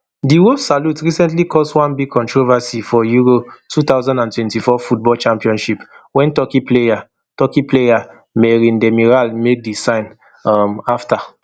di wolf salute recently cause one big controversy for euro two thousand and twenty-four football championship wen turkey player turkey player merih demiral make di sign um afta